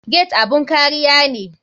Gate abun kariya ne.